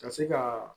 Ka se ka